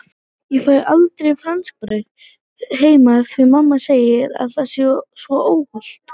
Ég fæ aldrei franskbrauð heima því mamma segir að það sé svo óhollt!